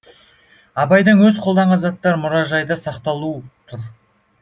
абайдың өзі қолданған заттары мұражайда сақтаулы тұр